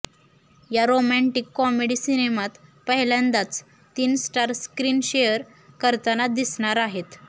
या romantic comedy सिनेमात पहिल्यांदाच तीन स्टार स्क्रीन शेअर करताना दिसणार आहेत